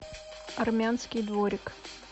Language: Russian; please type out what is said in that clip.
армянский дворик